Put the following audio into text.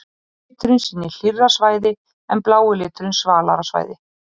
Rauði liturinn sýnir hlýrri svæði en blái liturinn svalari svæði.